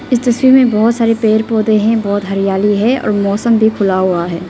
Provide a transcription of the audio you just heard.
इस तस्वीर में बहोत सारे पेड़ पौधे हैं बहोत हरियाली है और मौसम भी खुला हुआ है।